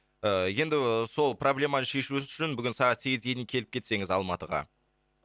ыыы енді сол проблеманы шешу үшін бүгін сағат сегізге дейін келіп кетсеңіз алматыға